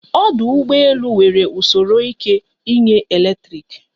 Ọdụ ụgbọ elu nwere usoro ike inye eletrik